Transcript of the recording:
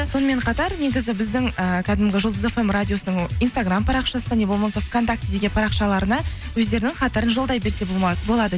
сонымен қатар негізі біздің ііі кәдімгі жұлдыз фм радиосының инстаграм парақшасына не болмаса вконтактеде парақшаларына өздерінің хаттарын жолдай берсе болады